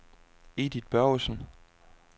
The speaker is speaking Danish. Edith Børgesen